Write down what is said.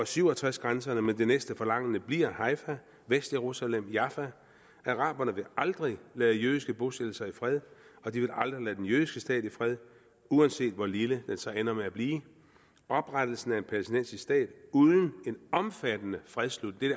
syv og tres grænserne tilbage men det næste forlangende bliver haifa vestjerusalem og jaffa araberne vil aldrig lade jødiske bosættelser i fred og de vil aldrig lade den jødiske stat i fred uanset hvor lille den så ender med at blive oprettelsen af en palæstinensisk stat uden en omfattende fredsslutning